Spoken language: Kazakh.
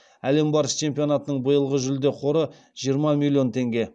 әлем барысы чемпионатының биылғы жүлде қоры жиырма миллион теңге